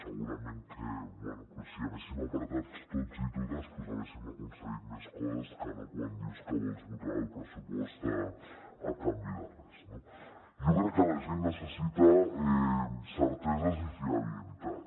segurament si haguéssim pressionat tots i totes haguéssim aconseguit més coses que no quan dius que vols votar el pressupost a canvi de res no jo crec que la gent necessita certeses i fiabilitat